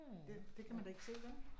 Det det kan man da ikke se, vel